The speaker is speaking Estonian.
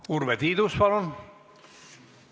Urve Tiidus, palun!